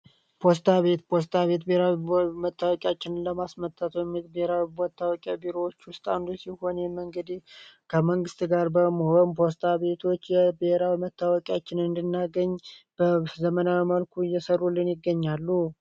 ፖስታ ቤት ፖስታ ቤት ብሔራዊ መተዋወቂያችንን ለማስመጣት ከሚጠቅሙን ቢሮዎች ውስጥ አንዱ ሲሆን ከመንግስት ጋር በመሆን ፖስታ ቤቶች የብሔራዊ መታወቂያችንን እንድናገኝ በዘመናዊ መልኩ እየሰሩልን ይገኛሉ።